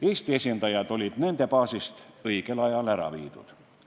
Eesti esindajad olid nende baasist õigel ajal ära viidud.